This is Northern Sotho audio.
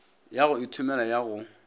ya go ithomela ya go